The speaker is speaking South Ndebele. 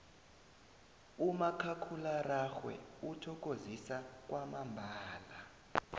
umakhakhulararhwe uthokozisa kwamambala